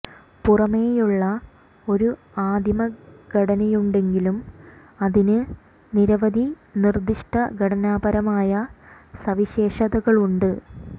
പുറമേയുള്ള ഒരു ആദിമ ഘടനയുണ്ടെങ്കിലും അതിന് നിരവധി നിർദ്ദിഷ്ട ഘടനാപരമായ സവിശേഷതകളുണ്ട്